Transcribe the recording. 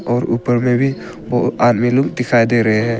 और ऊपर में भी आदमी लोग दिखाई दे रहे हैं।